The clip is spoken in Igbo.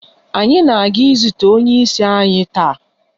Anyị na-aga izute onye isi anyi taa.